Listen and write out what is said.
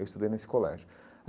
Eu estudei nesse colégio.